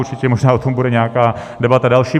Určitě možná o tom bude nějaká debata další.